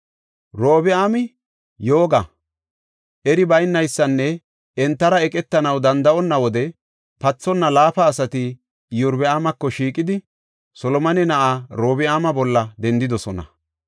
Robi7aami yooga, eri baynaysanne entara eqetanaw danda7onna wode pathonna laafa asati Iyorbaamako shiiqidi Solomone na7aa Orobi7aama bolla dendidosona.